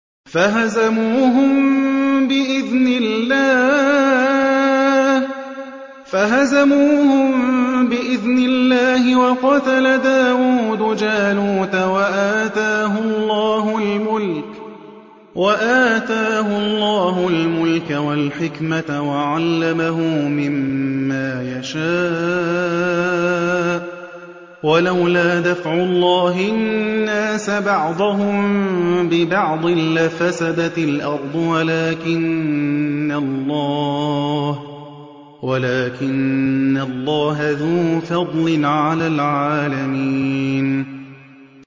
فَهَزَمُوهُم بِإِذْنِ اللَّهِ وَقَتَلَ دَاوُودُ جَالُوتَ وَآتَاهُ اللَّهُ الْمُلْكَ وَالْحِكْمَةَ وَعَلَّمَهُ مِمَّا يَشَاءُ ۗ وَلَوْلَا دَفْعُ اللَّهِ النَّاسَ بَعْضَهُم بِبَعْضٍ لَّفَسَدَتِ الْأَرْضُ وَلَٰكِنَّ اللَّهَ ذُو فَضْلٍ عَلَى الْعَالَمِينَ